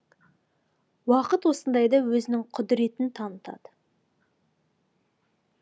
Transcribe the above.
уақыт осындайда өзінің құдіретін танытады